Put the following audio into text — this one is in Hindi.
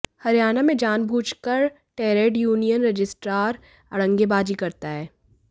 हरियाणा में जानबूझकर टे्रड यूनियन रजिस्ट्रार अड़ंगेबाजी करता है